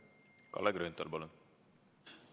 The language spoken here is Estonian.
Kalle Grünthal, palun!